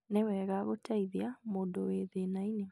nĩwega gũteithia mũndũ wĩ thĩnainĩ